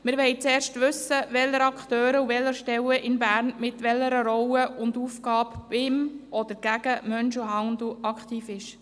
Wir wollen zuerst wissen, welche Akteure und welche Stellen in Bern mit welcher Rolle und Aufgabe gegen den Menschenhandel aktiv sind.